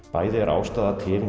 bæði er ástæða til